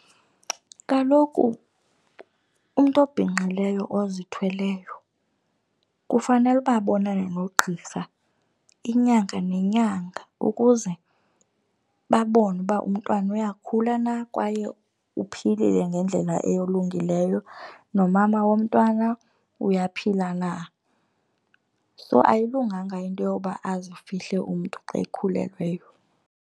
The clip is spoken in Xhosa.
Kaloku umntu obhinqileyo ozithweleyo kufanele uba abonane nogqirha inyanga nenyanga ukuze babone uba umntwana uyakhula na kwaye uphilile ngendlela elungileyo, nomama womntwana uyaphila na. So ayilunganga into yoba azifihle umntu xa ekhulelweyo.